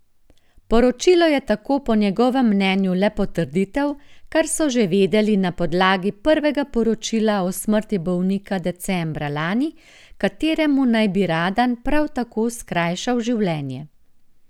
Poročilo je tako po njegovem mnenju le potrditev, kar so že vedeli na podlagi prvega poročila o smrti bolnika decembra lani, kateremu naj bi Radan prav tako skrajšal življenje.